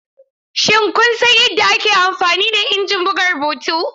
Shin kun san yadda ake amfani da injin buga rubutu?